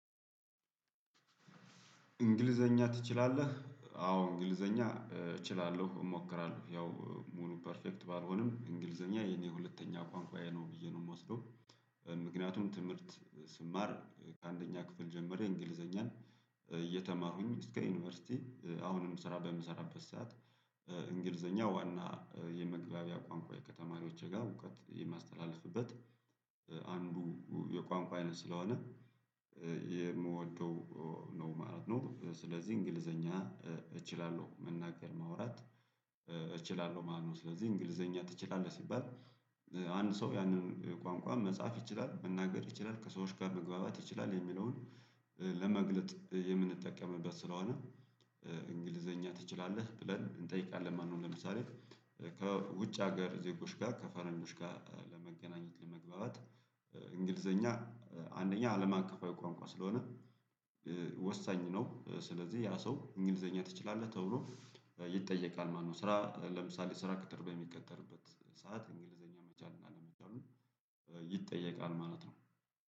እንግሊዘኛ ትችላለህ አዎ እንግሊዘኛ እችላለሁ እሞክራለሁ ያው ሙሉ ፐርፌክት ባልሆንም እንግሊዘኛ የኔ ሁለተኛ ቋንቋዬ ነው ብዬ ነው የምወስደው። ምክንያቱም ትምህርት ስማር ከአንደኛ ክፍል ጀመረ እንግሊዘኛን። እየተማሩኝ እስከ ዩኒቨርሲቲ አሁንም ስራ በምሰራበት ሰዓት። እንግሊዘኛ ዋና የመግቢያ ቋንቋ ከተማሪዎቼ ጋር እውቀት የማስተላልፍበት። አንዱ የቋንቋ አይነት ስለሆነ የምወደው ነው ማለት ነው። ስለዚህ እንግሊዘኛ እችላለሁ መናገር ማውራት እችላለሁ ማለት ነው። ስለዚህ እንግሊዘኛ ትችላለህ ሲባል አንድ ሰው ያንን ቋንቋ መጻፍ ይችላል መናገር ይችላል ከሰዎች ጋር መግባባት ይችላል የሚለውን ለመግለጥ የምንጠቀምበት ስለሆነ እንግሊዘኛ ትችላለህ ብለን እንጠይቃለን ማለት ነው። ለምሳሌ ከውጭ ሀገር ዜጎች ጋር ከፈርንጆች ጋር ለመገናኘት ለመግባባት እንግሊዘኛ አንደኛ አለም አቀፋዊ ቋንቋ ስለሆነ ወሳኝ ነው። ስለዚህ ያ ሰው እንግሊዘኛ ትችላለህ ተብሎ ይጠየቃል ማለት ነው። ስራ ለምሳሌ ስራ ቅጥር በሚቀጠርበት ሰዓት እንግሊዘኛ መቻል እና አለመቻሉ ይጠየቃል ማለት ነው